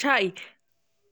chaie